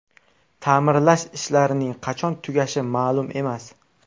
Ta’mirlash ishlarining qachon tugashi ma’lum emas.